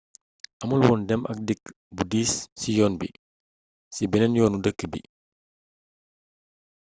amulwoon dem ak dikk bu diis ci yoon bi ci benneen yoonu dëkk bi